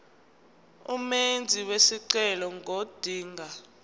umenzi wesicelo ngodinga